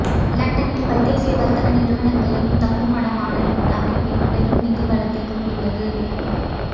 லண்டனில் பல்தேசிய வர்த்த நிறுவனங்களின் தங்குமடமான இந்த அமைப்பின் பெரும் நிதிவளத்தைக் கொண்டுள்ளது